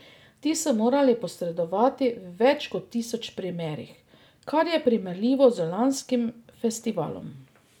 Ti so morali posredovati v več kot tisoč primerih, kar je primerljivo z lanskim festivalom.